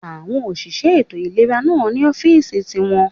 Àwọn òṣìṣẹ́ ètò ìlera náà ní ọ́fìsì ti wọn